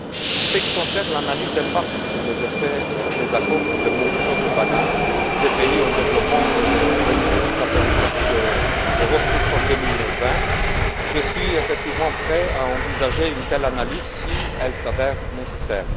En ce qui concerne l'analyse d'impact sur les effets des accords pour les producteurs de banane des pays en développement et des régions ultrapériphériques de l'Europe jusqu'en 2020, je suis effectivement prêt à envisager une telle analyse si elle s'avère nécessaire.